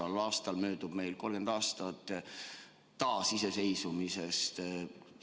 Sel aastal möödub 30 aastat taasiseseisvumisest.